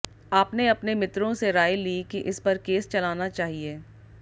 आपने अपने मित्रों से राय ली कि इस पर केस चलाना चाहिए